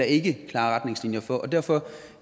ikke klare retningslinjer for og derfor